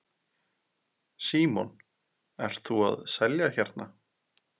Símon: Ert þú að selja hérna?